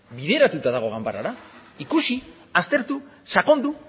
bideratuta dago ganbarara ikusi aztertu sakondu